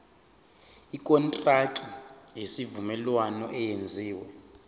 ikontraki yesivumelwano eyenziwe